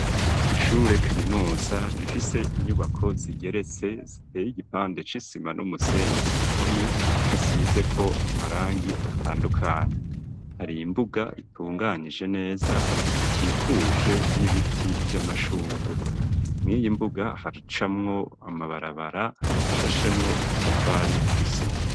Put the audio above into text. Ishure kaminuza rifise inyubako zigeretse ziteye igipande c'isima n'umusenyi ,ku mpome hasize ko amarangi atandukanye, hari imbuga itunganije neza, ikikuje n'ibiti vy'amashugwe, muriyi mbuga haracamwo amabarabara ashashemwo udutafari tw'isima.